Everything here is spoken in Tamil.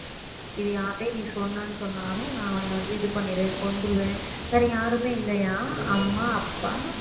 இது யார்கிட்டயும் நீ சொன்னன்னு சொன்னாலும் நான் உன்னைய வந்து இது பண்ணிடுவேன் கொன்றுவேன் வேற யாருமே இல்லையாம் அம்மா அப்பா